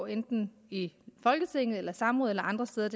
enten i folketinget samråd eller andre steder